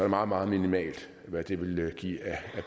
meget meget minimalt hvad det vil give af